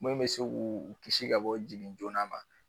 Min bɛ se k'u kisi ka bɔ jigin joona ma.